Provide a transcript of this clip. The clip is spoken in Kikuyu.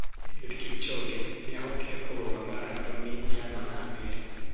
Eliud Kipchoge nĩ aahotire kũrũga marathoni ya mathaa merĩ.